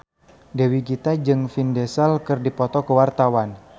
Dewi Gita jeung Vin Diesel keur dipoto ku wartawan